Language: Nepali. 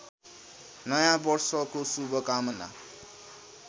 नयाँ वर्षको शुभकामना